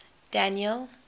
daniel